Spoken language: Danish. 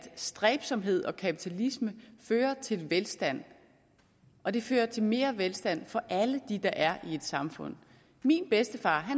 stræbsomhed og kapitalisme fører til velstand og det fører til mere velstand for alle dem der er i et samfund min bedstefar